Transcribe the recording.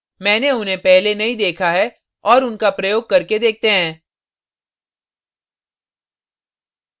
मैंने उन्हें पहले नहीं देखा है और उनका प्रयोग करके देखते हैं